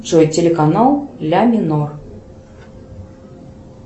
джой телеканал ля минор